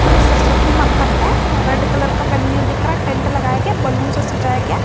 की सरस्वती माता का रेड कलर का वेन्यू दिख रहा टेंट लगाएं गया बैलून से सजाया गया।